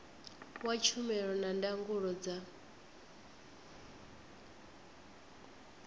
wa tshumelo na ndangulo dza